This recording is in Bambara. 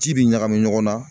Ci bi ɲagami ɲɔgɔn na